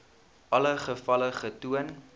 alle gevalle getoon